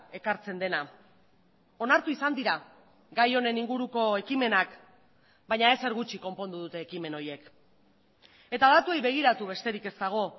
ekartzen dena onartu izan dira gai honen inguruko ekimenak baina ezer gutxi konpondu dute ekimen horiek eta datuei begiratu besterik ez dago